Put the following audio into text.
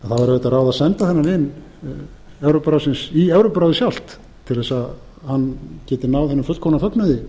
að senda þennan vin evrópuráðsins í evrópuráðið sjálft til þess að hann geti náð hinum fullkomna fögnuði